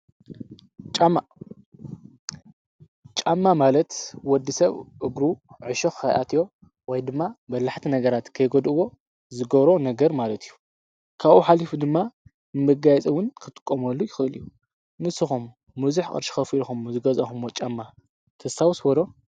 ጫማ ማለት ወዲ ሰብ እግሩ ዕሾኽ ኸይኣትዮ ወይ ድማ በላሕቲ ነገራት ከይጐድዎ ዝገሮ ነገር ማለት እዩ ካኡ ኃሊፉ ድማ ምጋይጽውን ክትቆመሉ ይኽእል እዩ ንስኾም ሙዙኅ ቕድሽኸፊኢልኹምዎ ዝገዛኹምዎ ጫማ ተሳውስበሎ?